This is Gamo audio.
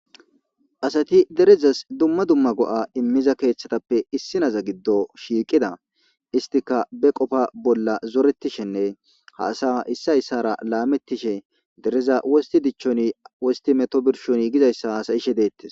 Asati derezas dumma dumma go'a immiza keeththatappe issi naza giddo shiiqida istika be qofa bolla zoretishenne haasa issayssara laamettishe dereza wosti dichchoni wosti meto birshoni gizayssa haasayishe deettes